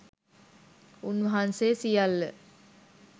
උන්වහන්සේ සියල්ල